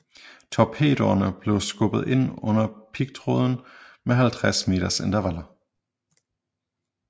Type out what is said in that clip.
Torpedoerne blev skubbet ind under pigtråden med 50 meters intervaller